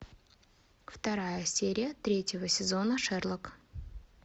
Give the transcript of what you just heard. вторая серия третьего сезона шерлок